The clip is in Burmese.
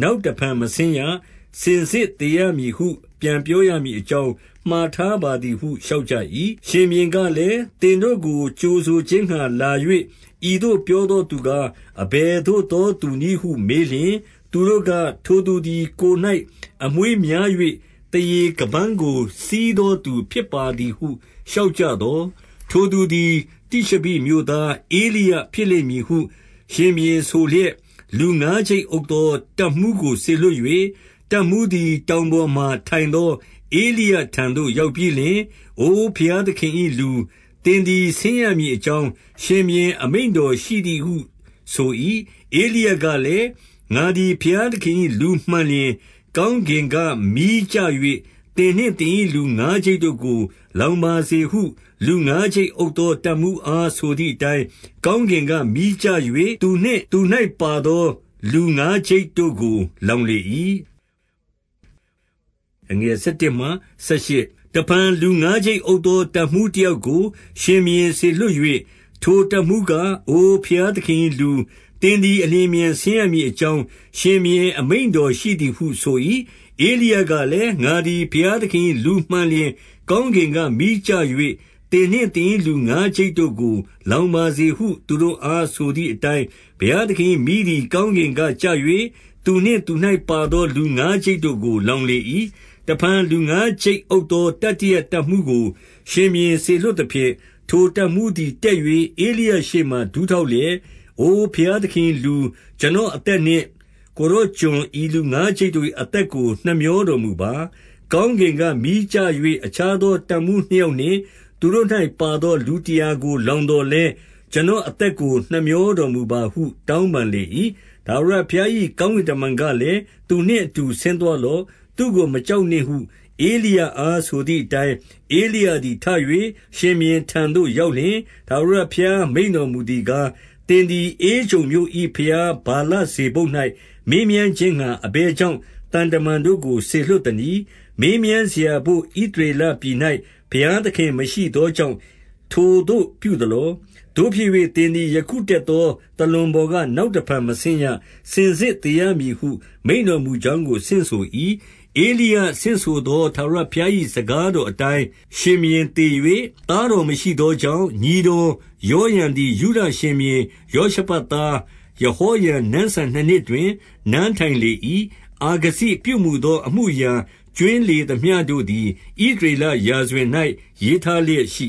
နောက်တဖန်မဆင်းရ။ စင်စစ်သေရမည်ဟု ပြောရမည် အကြောင်း မှာထားပါသည်ဟု လျှောက်ကြ၏။ ရှင်ဘုရင်ကလည်း၊ သင်တို့ကိုကြိုဆိုခြင်းငှါ လာ၍ ဤသို့ပြောသောသူကား အဘယ်သို့သော သူနည်းဟု မေးလျှင်၊ သူတို့က၊ ထိုသူသည် ကိုယ်၌အမွေးများ၍ သားရေခါးပန်းကို စည်းသောသူ ဖြစ်ပါသည်ဟု လျှောက် ကြသော်၊ ထိုသူသည် တိရှဘိမြို့သား ဧလိယဖြစ်လိမ့်မည် ဟု ရှင်ဘုရင်ဆိုလျက်၊ လူငါးကျိပ်အုပ်သော တပ်မှူးကိုစေလွှတ်၍၊ တပ်မှူးသည် တောင်ပေါ်မှာထိုင်သော ဧလိယထံသို့ ရောက်ပြီးလျှင်၊ အိုဘုရားသခင်၏လူ၊ သင်သည် ဆင်းရ မည်အကြောင်း၊ ရှင်ဘုရင်အမိန့်တော်ရှိသည်ဟုဆို၏။ ဧလိယကလည်း၊ ငါသည် ဘုရားသခင်၏လူမှန်လျှင်၊ ကောင်းကင်ကမီးကျ၍ သင်နှင့်သင်၏လူ ငါးကျိပ် တို့ကို လောင်ပါစေဟု လူငါးကျိပ်အုပ်သော တပ်မှူးအားဆိုသည်အတိုင်း၊ ကောင်းကင်က မီးကျ၍ သူနှင့်သူ၌ ပါသောလူငါးကျိပ်တို့ကို လောင်လေ၏။ တဖန်လူငါးကျိပ်အုပ်သော တပ်မှူးတယောက်ကို ရှင်ဘုရင်စေလွှတ်၍၊ ထိုတပ်မှူးက၊ အိုဘုရားသခင်၏ လူ၊ သင်သည် အလျင်အမြန် ဆင်းရမည်အကြောင်း ရှင်ဘုရင် အမိန့်တော်ရှိသည်ဟုဆို၏။ ဧလိယကလည်း၊ ငါသည်ဘုရားသခင်၏ လူမှန်လျှင် ကောင်းကင်က မီးကျ၍ သင်နှင့်သင်၏လူငါးကျိပ် တို့ကို လောင်ပါစေဟု သူတို့အား ဆိုသည်အတိုင်း၊ ဘုရားသခင်၏မီးသည် ကောင်းကင်ကကျ၍ သူနှင့်သူ၌ ပါသောလူငါးကျိပ်တို့ကို လောင်လေ၏။ တဖန်လူငါးကျိပ်အုပ်သော တတိယတပ်မှူးကို ရှင်ဘုရင်စေလွှတ်သဖြင့်၊ ထိုတပ်မှူးသည် တက်၍ ဧလိယရှေ့မှာဒူးထောက်လျက်၊ အိုဘုရားသခင်၏လူ၊ ကျွန်တော်အသက်နှင့် ကိုယ်တော် ကျွန် ဤလူငါးကျိပ်တို့၏ အသက်ကို နှမြောတော်မူပါ။ ကောင်းကင်က မီးကျ၍ အခြားသော တပ်မှူး နှစ်ယောက်နှင့် သူတို့၌ ပါသောလူတရာကို လောင် သော်လည်း၊ ကျွန်တော်အသက်ကို နှမြောတော်မူပါဟု တောင်းပန်လေ၏။ ထာဝရဘုရား၏ ကောင်းကင်တမန်ကလည်း၊ သူနှင့်အတူ ဆင်းသွားလော့။ သူ့ကို မကြောက်နှင့်ဟု ဧလိယအားဆိုသည်အတိုင်း၊ ဧလိယသည်ထ၍ ရှင်ဘုရင် ထံသို့ ရောက်လျှင်၊ ထာဝရဘုရား မိန့်တော်မူသည်ကား၊ သင်သည် ဧကြုန်မြို့၏ ဘုရားဗလဇေဗုပ်၌ မေးမြန်းခြင်းငှါ အဘယ်ကြောင့် သံတမန်တို့ကိုစေလွှတ်သနည်း။ မေးမြန်းစရာဘို့ ဣသရေလပြည်၌ ဘုရားသခင်မရှိ သောကြောင့် ထိုသို့ပြုသလော။ သို့ဖြစ်၍ သင်သည် ယခုတက်သော သာလွန်ပေါ်က နောက်တဖန်မဆင်းရ။ စင်စစ်သေရ မည်ဟု မိန့်တော်မူကြောင်းကို ဆင့်ဆို၏။ ဧလိယ ဆင့်ဆိုသောထာဝရဘုရား၏ စကားတော်အတိုင်း ရှင်ဘုရင်သေ၍၊ သားတော်မရှိသော ကြောင့် ညီတော်ယောရံသည် ယုဒရှင်ဘုရင်ယောရှဖတ်သား ယဟောရံနန်းစံနှစ်နှစ်တွင် နန်းထိုင်လေ၏။ အာဇခိပြုမူသော အမှုအရာကြွင်းလေသမျှတို့သည်၊ ဣသရေလ ရာဇဝင်၌ ရေးထားလျက်ရှိ